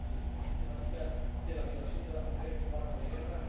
con la utilización sistemática de la violación de las mujeres como arma de guerra